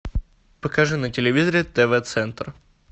покажи на телевизоре тв центр